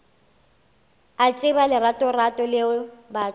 a tseba leratorato leo batho